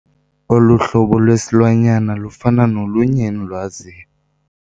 Olu hlobo lwesilwanyana lufana nolunye endilwaziyo.